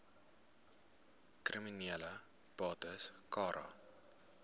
kriminele bates cara